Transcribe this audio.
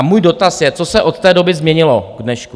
A můj dotaz je, co se od té doby změnilo k dnešku?